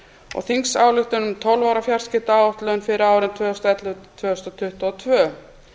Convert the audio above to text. og þingsályktun um tólf ára fjarskiptaáætlun fyrir árin tvö þúsund og ellefu til tvö þúsund tuttugu og tvö